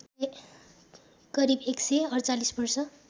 करिब १४८ वर्ष